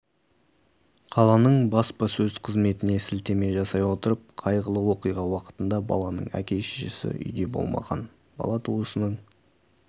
қаланың баспасөз қызметіне сілтеме жасай отырып қайғылы оқиға уақытында баланың әке-шешесі үйде болмаған бала туысының